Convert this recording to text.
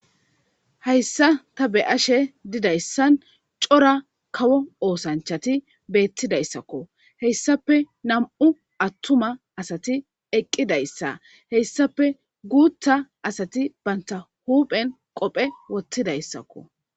Haysa ta be'ashe dizaysan cora kawo osanachati betidaysakko hesafe nam'u atuma asati eqidaysa hesafe gutha asati banta huphen qofe Wothidaysakko